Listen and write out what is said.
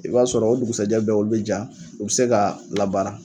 I b'a sɔrɔ o dugusajɛ bɛɛ olu be ja u be se ka labaara